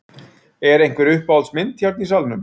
Er einhver uppáhalds mynd hérna í salnum?